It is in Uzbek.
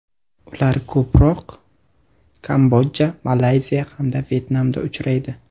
Ular ko‘proq Kamboja, Malayziya hamda Vyetnamda uchraydi.